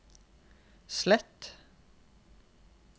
slett